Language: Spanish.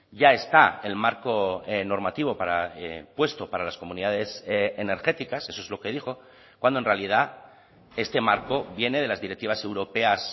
ya está el marco normativo para puesto para las comunidades energéticas eso es lo que dijo cuando en realidad este marco viene de las directivas europeas